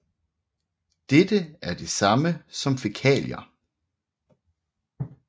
Dette er det samme som fækalier